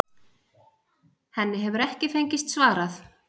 Henni hefur ekki fengist svarað.